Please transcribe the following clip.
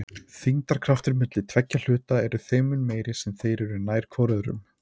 Þyngdarkraftur milli tveggja hluta er þeim mun meiri sem þeir eru nær hvor öðrum.